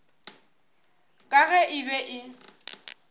ka ge e be e